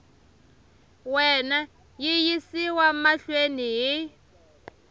wena yi yisiwa mahlweni hi